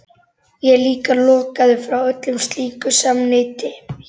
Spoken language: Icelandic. Ég er líka lokaður frá öllu slíku samneyti hér.